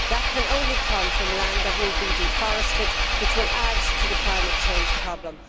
That can only come from land that will be deforested, which will add to the climate change problem.